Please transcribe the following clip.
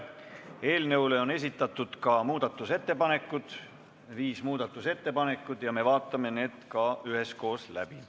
Eelnõu kohta on esitatud ka muudatusettepanekud – viis muudatusettepanekut – ja me vaatame need üheskoos läbi.